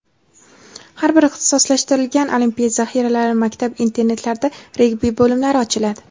har bir ixtisoslashtirilgan olimpiya zaxiralari maktab-internatlarida regbi bo‘limlari ochiladi.